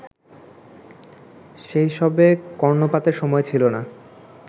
সেসবে কর্ণপাতের সময় ছিল না